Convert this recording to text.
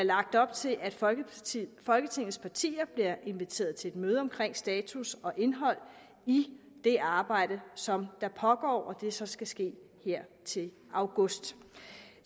op til at folketingets folketingets partier bliver inviteret til et møde omkring status og indhold i det arbejde som der pågår og at det så skal ske her til august